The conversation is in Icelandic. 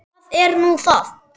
Hvað er nú það?